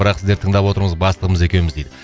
бірақ сіздерді тыңдап отырмыз бастығымыз екеуміз дейді